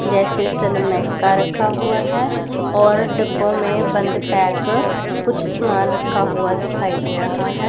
जैसे सनमाइका रखा हुआ है और डिब्बों में बंद पैक कुछ सामान रखा हुआ दिखाई दे रहा है।